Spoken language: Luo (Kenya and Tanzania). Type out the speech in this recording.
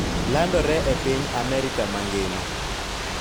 Landore e piny Amerka mangima